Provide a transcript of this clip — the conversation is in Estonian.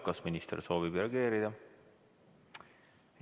Kas minister soovib reageerida?